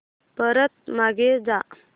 परत मागे जा